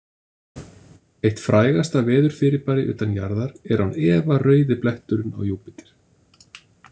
Eitt frægasta veðurfyrirbæri utan jarðar er án efa rauði bletturinn á Júpíter.